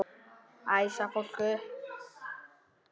Æsa fólk upp?